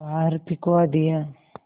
बाहर फिंकवा दिया